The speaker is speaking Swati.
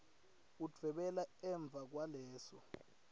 udvwebele emva kwaleso